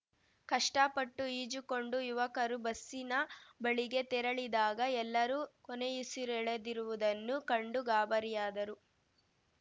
ಕಷ್ಟಪಟ್ಟು ಈಜುಕೊಂಡು ಯುವಕರು ಬಸ್ಸಿನ ಬಳಿಗೆ ತೆರಳಿದಾಗ ಎಲ್ಲರೂ ಕೊನೆಯುಸಿರೆಳೆದಿರುವುದನ್ನು ಕಂಡು ಗಾಬರಿಯಾದರು